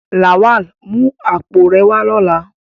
Lawal, mu apo re wa lola!